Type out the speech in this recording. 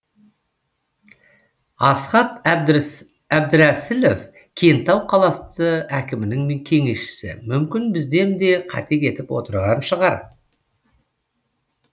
асқат әбдірәсілов кентау қаласы әкімінің кеңесшісі мүмкін бізден де қате кетіп отырған шығар